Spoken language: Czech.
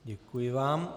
Děkuji vám.